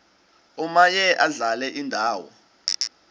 omaye adlale indawo